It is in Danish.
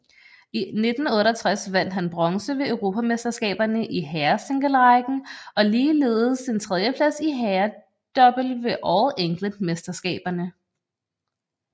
I 1968 vandt han bronze ved Europamesterskaberne i herresinglerækken og ligeledes en tredieplads i herredouble ved All England mesterskaberne